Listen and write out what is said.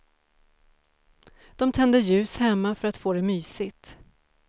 De tänder ljus hemma för att få det mysigt.